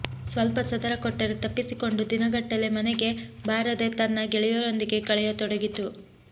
ಸ್ವಲ್ಪ ಸದರ ಕೊಟ್ಟರೆ ತಪ್ಪಿಸಿಕೊಂಡು ದಿನಗಟ್ಟಲೆ ಮನೆಗೆ ಬಾರದೇ ತನ್ನ ಗೆಳೆಯರೊಂದಿಗೆ ಕಳೆಯತೊಡಗಿತು